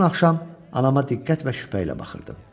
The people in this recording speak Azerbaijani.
Bütün axşam anama diqqət və şübhə ilə baxırdım.